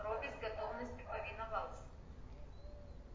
робби с готовностью повиновался